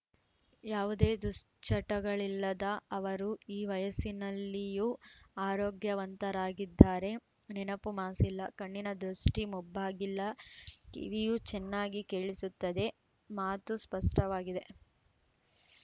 ಯಾವುದೇ ದುಶ್ಚಟಗಳಿಲ್ಲದ ಅವರು ಈ ವಯಸ್ಸಿನಲ್ಲಿಯೂ ಆರೋಗ್ಯವಂತರಾಗಿದ್ದಾರೆ ನೆನಪು ಮಾಸಿಲ್ಲ ಕಣ್ಣಿನ ದುಷ್ಟಿಮಬ್ಬಾಗಿಲ್ಲ ಕಿವಿಯೂ ಚೆನ್ನಾಗಿ ಕೇಳಿಸುತ್ತದೆ ಮಾತೂ ಸ್ಪಷ್ಟವಾಗಿದೆ